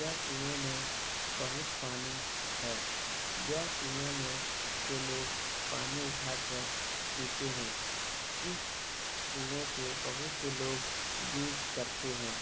यह कुए मे बहुत पानी है। यह कुए मे से लोग पानी उठा कर पीते है। इस कुए को बहुत से लोग यूज करते है।